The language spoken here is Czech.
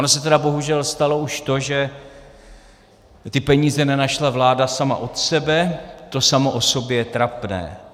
Ono se tedy bohužel stalo už to, že ty peníze nenašla vláda sama od sebe, to samo o sobě je trapné.